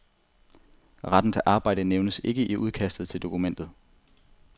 Retten til arbejde nævnes ikke i udkastet til dokumentet.